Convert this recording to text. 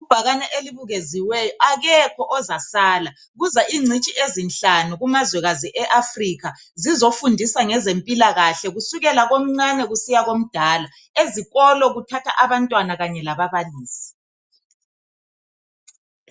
Ibhakani elibukeziweyo, AKEKHO OZASALA! Kuza ingcitshi ezinhlanu kumazwekazi e Afrika zizofundisa ngezempilakahle kusukela komncane kusiya komdala ezikolo kuthatha abantwana Kanye lababalisi.